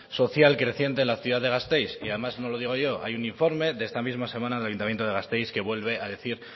social creciente en la ciudad de gasteiz y además no lo digo yo hay un informe de esta misma semana del ayuntamiento de gasteiz que vuelve a decir